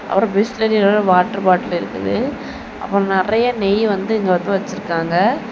அப்புறம் Bisleri water bottle இருக்குது அப்புறம் நிறைய நெய் வந்து இங்க வச்சிருக்காங்க.